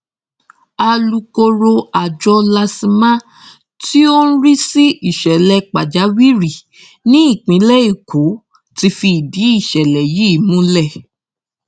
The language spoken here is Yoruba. alūkkóró àjọ lasma tó ń rí sí ìṣẹlẹ pàjáwìrì nípìnlẹ èkó ti fìdí ìṣẹlẹ yìí múlẹ